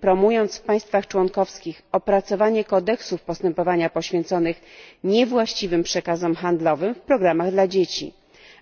promując w państwach członkowskich opracowanie kodeksów postępowania poświęconych niewłaściwym przekazom handlowym w programach dla dzieci,